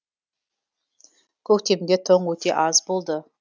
көктемде тоң өте аз болды